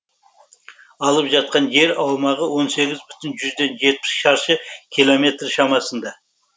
алып жатқан жер аумағы он сегіз бүтін жүзден жетпіс шаршы километр шамасында